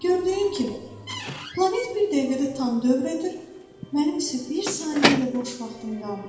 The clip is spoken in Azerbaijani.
Gördüyün kimi, planet bir dəqiqədə tam dövr edir, mənim isə bir saniyə də boş vaxtım qalmır.